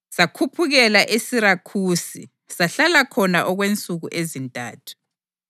Sakhuphukela eSirakhusi sahlala khona okwensuku ezintathu.